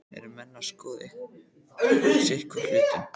Eru menn að skoða sitthvorn hlutinn?